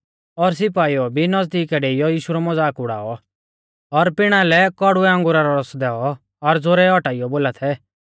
और सिपाईउ ऐ भी नज़दीक डेइयौ यीशु रौ मज़ाक उड़ाऔ और पिणा लै कौड़ुऐ अंगुरा रौ रस दैऔ और ज़ोरै औटाइयौ बोला थै